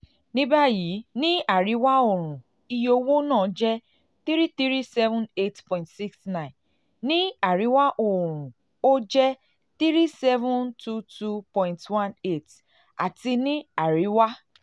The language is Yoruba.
nibayi ni um ariwa-õrùn um iye owo naa jẹ n three thousand three hundred seventy eight point six nine ni ariwa-õrùn o jẹ n three thousand seven hundred twenty two point one eight um ati ni ariwa